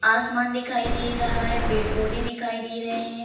आसमान दिखाई दे रहा है पेड़ पौधे दिखाई दे रहें हैं।